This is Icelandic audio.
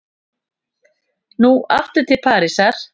Nú aftur til Parísar.